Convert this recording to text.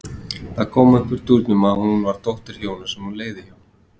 Það kom upp úr dúrnum að hún var dóttir hjóna sem hún leigði hjá.